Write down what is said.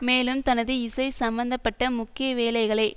மேலும் தனது இசை சம்பந்த பட்ட முக்கிய வேலைகளை